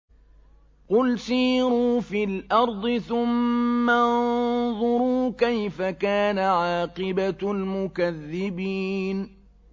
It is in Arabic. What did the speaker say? قُلْ سِيرُوا فِي الْأَرْضِ ثُمَّ انظُرُوا كَيْفَ كَانَ عَاقِبَةُ الْمُكَذِّبِينَ